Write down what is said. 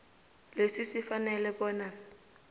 lesi sifanele bona